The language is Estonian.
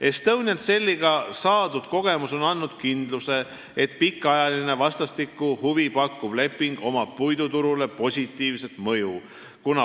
Estonian Celliga saadud kogemus on andnud kindluse, et pikaajalisel ja vastastikku huvi pakkuval lepingul on puiduturule positiivne mõju.